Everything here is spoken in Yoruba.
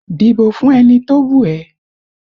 Dìbò fún ẹni tó wù ẹ́